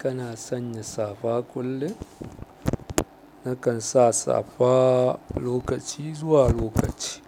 Kana sanya safa kullum? Nakan sa safa lokaci zuwa lokaci